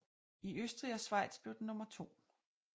I Østrig og Schweiz blev den nummer to